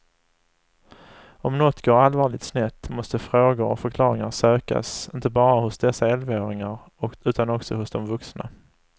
Om något går allvarligt snett måste frågor och förklaringar sökas inte bara hos dessa elvaåringar utan också hos de vuxna.